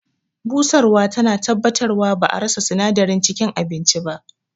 Busarwa tana tabbatarwa ba'a rasa sinadaran cikin abincin ba.